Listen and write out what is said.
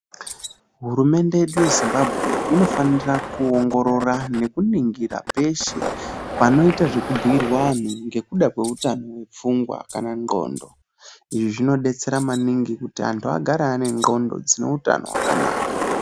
Hurumende yedu yeZimbabwe inofanira kuongorora nekuningira peshe, panoita zvekubhuirwa anhu ngekuda kweutano hwepfungwa kana hwendxondo. Izvi zvinodetsera maningi kuti anhu agare ane ndxondo dzine utano hwakanaka.